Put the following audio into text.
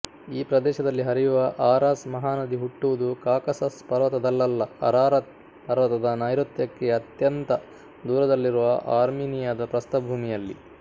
ಈ ಪ್ರದೇಶದಲ್ಲಿ ಹರಿಯುವ ಆರಾಸ್ ಮಹಾನದಿ ಹುಟ್ಟುವುದು ಕಾಕಸಸ್ ಪರ್ವತದಲ್ಲಲ್ಲ ಅರಾರತ್ ಪರ್ವತದ ನೈಋತ್ಯಕ್ಕೆ ಅತ್ಯಂತ ದೂರದಲ್ಲಿರುವ ಆರ್ಮೀನಿಯದ ಪ್ರಸ್ಥಭೂಮಿಯಲ್ಲಿ